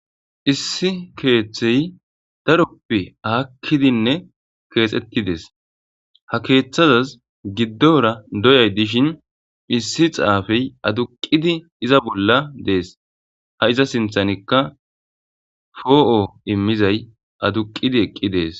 Issi keeththey daroppe aakkidinne keexettides ha keeththazaz giddora doyay dishin issi xaafey aduqidi iza bolla dees ha iza sinthanikka foo'o immizay aduqidi eqqi dees.